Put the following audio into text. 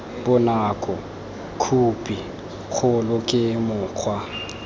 bonako khophi kgolo ke mokgwa